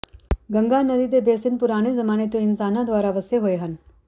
ਗੰਗਾ ਨਦੀ ਦੇ ਬੇਸਿਨ ਪੁਰਾਣੇ ਜ਼ਮਾਨੇ ਤੋਂ ਇਨਸਾਨਾਂ ਦੁਆਰਾ ਵੱਸੇ ਹੋਏ ਹਨ